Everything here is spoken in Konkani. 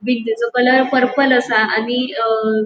कलर पर्पल आसा आणि अ --